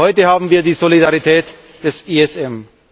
Heute haben wir die Solidarität des ESM.